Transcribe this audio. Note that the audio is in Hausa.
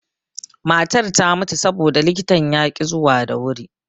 Matar ta mutu saboda likitan yaƙi zuwa da wuri.